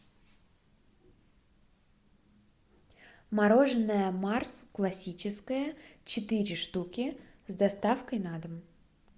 мороженое марс классическое четыре штуки с доставкой на дом